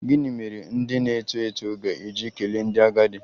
Gịnị mere ndị na-eto eto ga-eji kelee ndị agadi?